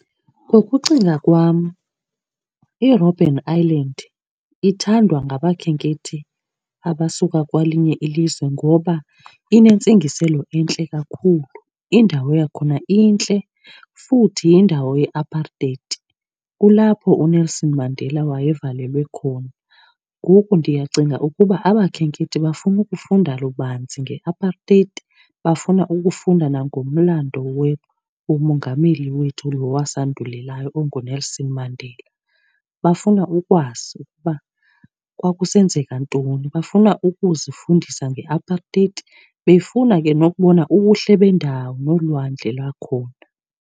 Ngokucinga kwam iRobben Island ithandwa ngabakhenkethi abasuka kwelinye ilizwe ngoba inentsingiselo entle kakhulu. Indawo yakhona intle futhi yindawo ye-apartheid. Kulapho uNelson Mandela wayevalelwe khona. Ngoku ndiyacinga ukuba abakhenkethi bafuna ukufunda lubanzi nge-apartheid, bafuna ukufunda nangomlando womongameli wethu lo wasandulelayo onguNelson Mandela. Bafuna ukwazi ukuba kwakusenzeka ntoni, bafuna ukuzifundisa nge-apartheid befuna ke nokubona ubuhle bendawo nolwandle lakhona.